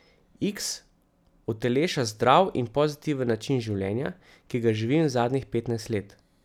Iks uteleša zdrav in pozitiven način življenja, ki ga živim zadnjih petnajst let.